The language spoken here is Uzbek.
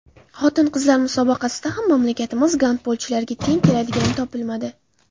Xotin-qizlar musobaqasida ham mamlakatimiz gandbolchilariga teng keladigani topilmadi.